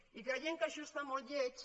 i creiem que això és molt lleig